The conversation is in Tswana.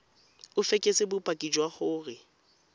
o fekese bopaki jwa gore